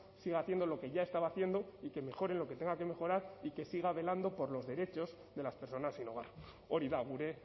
siga haciendo lo que ya estaba haciendo y que mejore lo que tenga que mejorar y que siga velando por los derechos de las personas sin hogar hori da gure